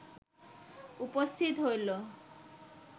উপস্থিত হইল